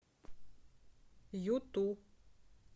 юту